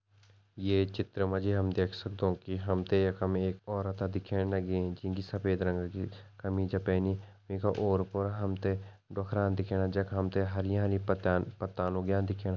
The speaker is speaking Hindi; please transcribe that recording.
ये चित्र मा जी हम देख सगदौं कि हमतें यखम एक औरता दिखेण लगीं जींकी सफेद रंगा कि कमीजा पैनी वींका ओर-पोर हमतें डोखरा दिखेणा जख हमतें हरियानि पत्ता पत्तान उग्यां दिखेणा।